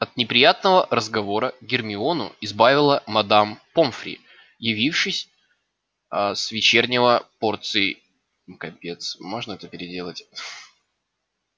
от неприятного разговора гермиону избавила мадам помфри явившаяся а с вечерней порцией капец можно это переделать